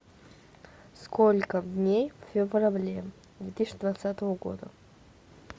сколько дней в феврале две тысячи двадцатого года